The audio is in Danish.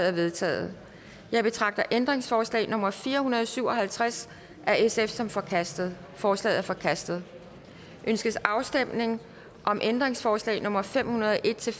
er vedtaget jeg betragter ændringsforslag nummer fire hundrede og syv og halvtreds af sf som forkastet forslaget er forkastet ønskes afstemning om ændringsforslag nummer fem hundrede og en til